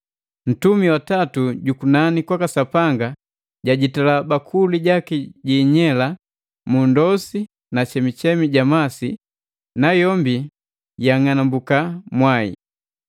Ntumi wa tatu jukunani kwaka Sapanga jajitila bakuli jaki jiinyela mu ndosi na chemuchemu ja masi, nayombi yang'anambuka mwai.